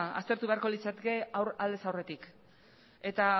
aztertu beharko litzateke aldez aurretik eta